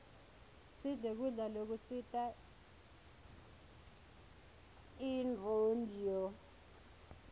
sidle kudla lokusita inronduo